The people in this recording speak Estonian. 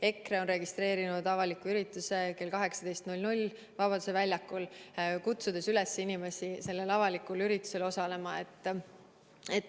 EKRE on registreerinud avaliku ürituse kell 18 Vabaduse väljakul, kutsudes üles inimesi sellel avalikul üritusel osalema.